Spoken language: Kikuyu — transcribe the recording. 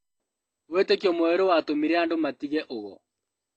Wĩtĩkio mwerũ watũmire andũ matige ũgo